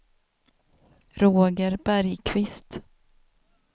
Roger Bergqvist